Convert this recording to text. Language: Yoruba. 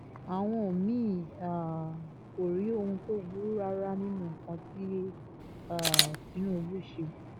àwọn mí-ín um kò rí ohun tó burú rárá nínú nǹkan tí um tinubu ṣe